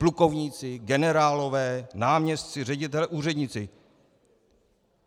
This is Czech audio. Plukovníci, generálové, náměstci, ředitelé, úředníci.